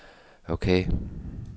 ok